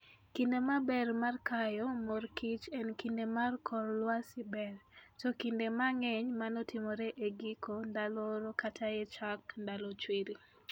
Kinde maber mar kayo mor kich en kinde ma kor lwasi ber, to kinde mang'eny mano timore e giko ndalo oro kata e chak ndalo chwiri.